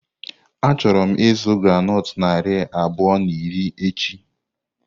Achọrọ m ịzụ groundnut narị abụọ na iri echi.